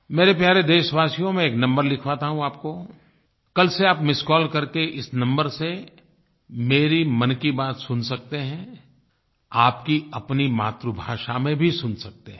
मेरे प्यारे देशवासियो मैं एक नंबर लिखवाता हूँ आपको कल से आप मिस्ड कॉल करके इस नंबर से मेरी मन की बात सुन सकते हैं आपकी अपनी मातृभाषा में भी सुन सकते हैं